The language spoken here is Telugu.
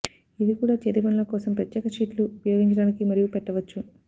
ఇది కూడా చేతిపనుల కోసం ప్రత్యేక షీట్లు ఉపయోగించడానికి మరియు పెట్టవచ్చు